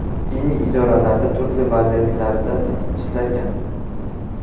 Diniy idoralarda turli vazifalarda ishlagan.